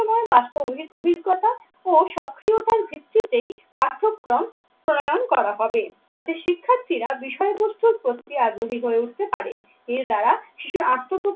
ময় বাস্তবায়িত অভিজ্ঞতা ও সক্রিয়তার ভিত্তিতেই পাঠ্যক্রম প্রণয়ন করা হবে। যাতে শিক্ষার্থীরা বিষয়বস্তুর প্রক্রিয়া আগ্রহী হয়ে উঠতে পারে। এর দ্বারা শিশুর আত্ম